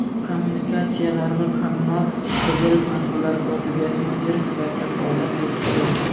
kommunikatsiyalar va kommunal xo‘jalik masalalari kotibiyati mudiri sifatida faoliyat yuritib kelgan.